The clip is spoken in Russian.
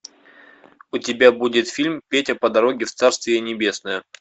у тебя будет фильм петя по дороге в царствие небесное